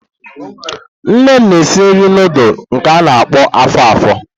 Nne m na-esi nri nudulu nke a-na akpo afo-afo.